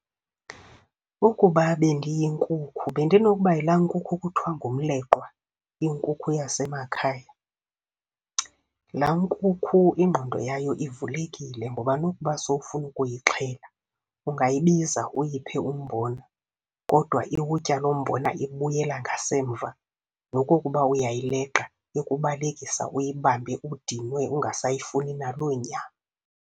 Ukuba bendiyinkukhu, bendinokuba yilaa nkukhu kuthiwa ngumleqwa, inkukhu yasemakhaya. Laa nkukhu ingqondo yayo ivulekile ngoba nokuba sowufuna ukuyixhela, ungayibiza uyiphe umbona kodwa iwutya loo mbona ibuyela ngasemva, nokokuba uyayileqa ikubalekisa uyibambe udinwe ungasayifuni naloo nyama.